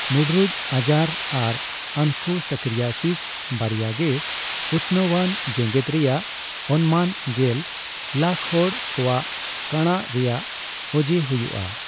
ᱢᱩᱰᱨᱩᱡᱽ ᱟᱡᱟᱨ ᱟᱨ ᱚᱱᱠᱳᱥᱟᱨᱠᱤᱭᱟᱥᱤᱥ ᱵᱟᱨᱭᱟ ᱜᱮ ᱩᱛᱱᱟᱹᱣᱟᱱ ᱡᱮᱜᱮᱫ ᱨᱮᱭᱟᱜ ᱚᱱᱢᱟᱱ ᱜᱮᱞ ᱞᱟᱠ ᱦᱚᱲ ᱠᱚᱣᱟᱜ ᱠᱟᱬᱟᱜ ᱨᱮᱭᱟᱜ ᱚᱡᱮ ᱦᱩᱭᱩᱜᱼᱟ ᱾